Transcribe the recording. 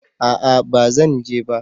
A'a ba Zan je ba